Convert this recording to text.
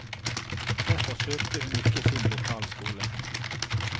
Derfor søkte hun ikke sin lokalskole.